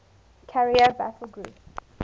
carrier battle group